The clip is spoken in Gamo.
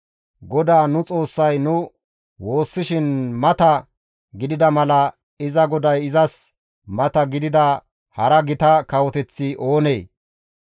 GODAA nu Xoossay nu woossishin mata gidida mala iza GODAY izas mata gidida hara gita kawoteththi oonee?